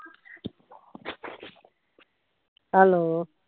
hello